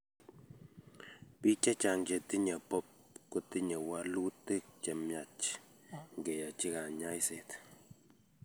Biik chechang chetinye BOOP kotinye walutik chemyach ngeyachi kanyaiset